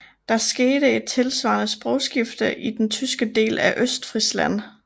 Der skete et tilvarende sprogskifte i den tyske del af Østfrisland